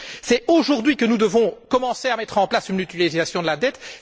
C'est aujourd'hui que nous devons commencer à mettre en place une mutualisation de la dette.